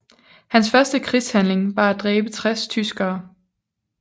Hans første krigshandling var at dræbe 60 tyskere